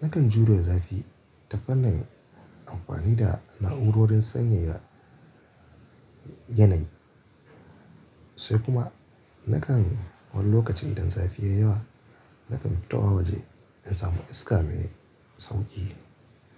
Nakan jure zafi ta fannin amfani da na'urorin sanyaya yanayi sai kuma nakan wani lokacin idan zafi ya yi yawa nakan fitowa waje in samu iska mai sauƙi.